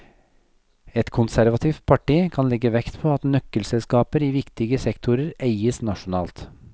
Et konservativt parti kan legge vekt på at nøkkelselskaper i viktige sektorer eies nasjonalt.